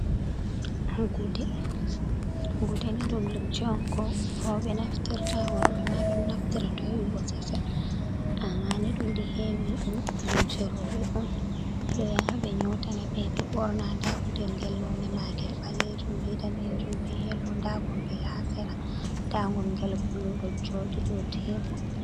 Gude, gude ni ɗum lumce on ko roɓɓe naftirta worɓɓe ma ɗon naftira to heɓi bosesel, a mani ɗuɗi hewi lumce roɓɓe on ɓe ɗo yaa ɓe nyotana ɓe, ɓe ɓorna nda gudel ngel none magel ɓalejum be danejum, be yelo, nda god ngel ha sera, nda gud gel bulu ɗo joɗi dou tebol.